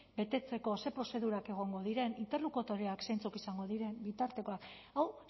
betetzeko zein prozedurak egongo diren interlokutoreak zeintzuk izango diren bitartekoak hau